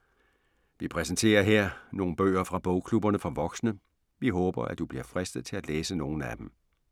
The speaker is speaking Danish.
Vi præsenterer her nogle bøger fra bogklubberne for voksne. Vi håber, at du bliver fristet til at læse nogle af dem.